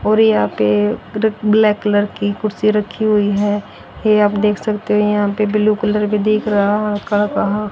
और यहां पे मतलब ब्लैक कलर की कुर्सी रखी हुई है यह आप देख सकते जो यहां पे ब्लू कलर भी दिख रहा हल्का हल्का।